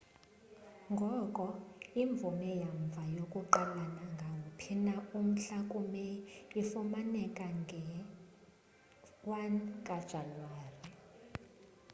ngoko imvume yamva yokuqala nangawuphi na umhla ku meyi ifumaneka nge 1 jan